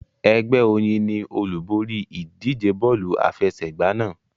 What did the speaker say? Ẹgbẹ́ Oyin ni olúborí ìdíje bọ́ọ̀lù àfẹsẹ̀gbá náà.